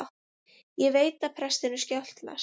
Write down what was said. Ég veit að prestinum skjátlast.